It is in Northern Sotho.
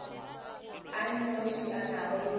a nnoši a nago le